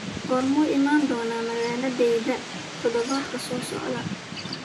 Goormuu iman doonaa magaaladayda toddobaadka soo socda?